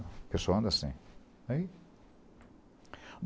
O pessoal anda assim. Aí